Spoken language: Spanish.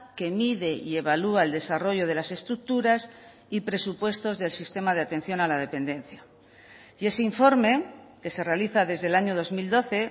que mide y evalúa el desarrollo de las estructuras y presupuestos del sistema de atención a la dependencia y ese informe que se realiza desde el año dos mil doce